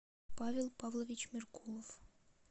павел павлович меркулов